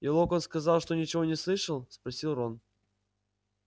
и локонс сказал что ничего не слышал спросил рон